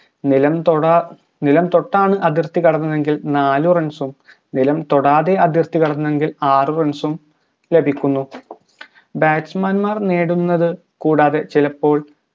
നിലം തൊട നിലം തൊട്ടാണ് അതിർത്തി കടന്നത് എങ്കിൽ നാലു runs ഉം നിലം തൊടാതെ അതിർത്തി കടന്നുഎങ്കിൽ ആറ് runs ഉം ലഭിക്കുന്നു batsman മാർ നേടുന്നത് കൂടാതെ ചിലപ്പോൾ